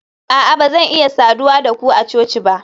a'a ba zan iya saduwa da ku a coci ba